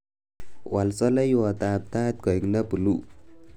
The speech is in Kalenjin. Wal soleiwotab tait koek nebuluu